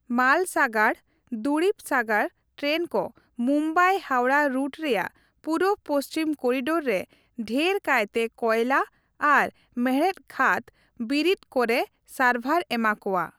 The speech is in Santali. ᱢᱟᱞ ᱥᱟᱜᱟᱲ/ ᱫᱩᱨᱤᱵᱽ ᱥᱟᱜᱟᱲ ᱴᱨᱮᱱ ᱠᱚ ᱢᱩᱢᱵᱟᱭᱼᱦᱟᱣᱲᱟ ᱨᱩᱴ ᱨᱮᱭᱟᱜ ᱯᱩᱨᱩᱵᱽᱼᱯᱚᱪᱷᱤᱢ ᱠᱚᱨᱤᱰᱳᱨ ᱨᱮ ᱰᱷᱮᱨ ᱠᱟᱭᱛᱮ ᱠᱚᱭᱞᱟ ᱟᱨ ᱢᱮᱲᱦᱮᱫ ᱠᱷᱟᱹᱫᱽ ᱵᱤᱨᱤᱛ ᱠᱚᱨᱮ ᱥᱟᱨᱵᱷᱟᱨ ᱮᱢᱟ ᱠᱚᱣᱟ ᱾